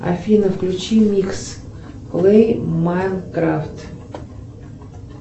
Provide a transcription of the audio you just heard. афина включи микс лэй майнкрафт